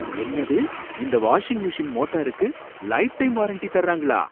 என்னது! இந்த washing machine மோட்டாருக்கு லைஃப்டைம் வாரண்டி தர்றாங்களா?